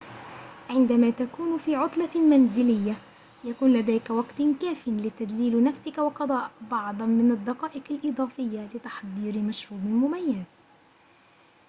عندما تكون في عطلة منزلية يكون لديك وقت كافٍ لتدليل نفسك وقضاء بعضاً من الدقائق الإضافية لتحضير مشروب مميز